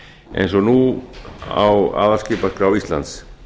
eins og nú á aðalskipaskrá íslands